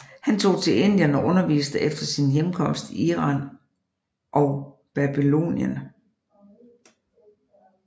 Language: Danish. Han tog til Indien og underviste efter sin hjemkomst i Iran og Babylonien